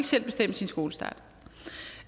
selv bestemme sin skolestart